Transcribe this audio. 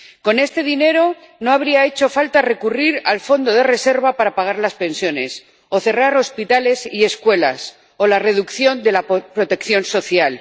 Con este dinero no habría hecho falta recurrir al fondo de reserva para pagar las pensiones, o cerrar hospitales y escuelas, o la reducción de la protección social.